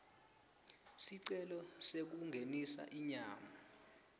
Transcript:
sicelo sekungenisa inyama